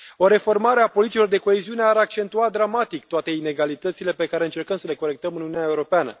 O reformare a politicilor de coeziune ar accentua dramatic toate inegalitățile pe care încercăm să le corectăm în Uniunea Europeană.